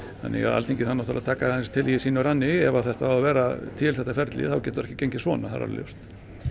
þannig að Alþingi þarf að taka til í sínum ranni ef þetta á að vera til þetta ferli þá getur það ekki gengið svona það er alveg ljóst